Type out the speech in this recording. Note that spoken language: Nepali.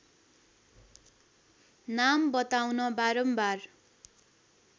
नाम बताउन बारम्बार